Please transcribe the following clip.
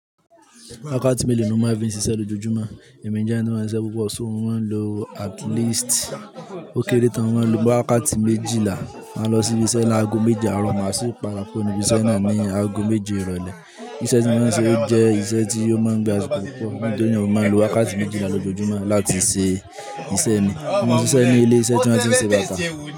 Wákàtí mélòó ni o máa fi ṣiṣẹ́ lójoojúmọ́? Ẹ̀mí jé ẹni tó mọ́n siṣe púpọ̀ so, mo moń lo at least ó kéré tán mo máa ń lo bóyá wákàtí méjìlá máa lọ sí ibiṣẹ́ ní aago méje àárọ̀ máa sì pada kúrò níbi iṣẹ́ náà ní aago méje ìrọ̀lẹ́. Iṣẹ́ tí wọ́n ń ṣe jẹ́ iṣẹ́ tí ó máa ń gba asiko púpọ̀, nítorina ni mo fí máa ń lo wákàtí méjìlá lójoojúmọ́ láti ṣe iṣẹ́ mi. Mo ń ṣiṣẹ́ ní ilé iṣẹ́ tí wọ́n ti ń ṣe bàtà.